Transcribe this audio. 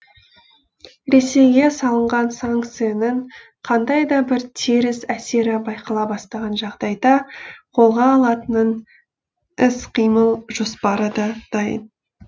ресейге салынған санкцияның қандай да бір теріс әсері байқала бастаған жағдайда қолға алатынын іс қимыл жоспары да дайын